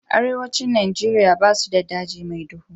Arewacin Nigeria basu da daji mai duhu.